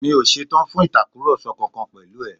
Mi ò ṣetán fún Ìtàkùrọ̀sọ kankan pẹ̀lú ẹ̀